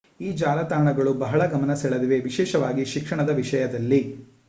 ಈ ಜಾಲತಾಣಗಳು ಬಹಳ ಗಮನ ಸೆಳೆದಿವೆ ವಿಶೇಷವಾಗಿ ಶಿಕ್ಷಣದ ವಿಷಯದಲ್ಲಿ